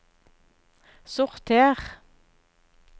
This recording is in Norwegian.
sorter